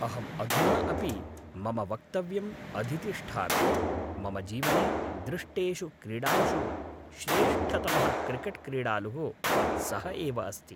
अहम् अधुना अपि मम वक्तव्यम् अधितिष्ठामि, मम जीवने दृष्टेषु क्रीडालुषु श्रेष्ठतमः क्रिकेट्क्रीडालुः सः एव अस्ति।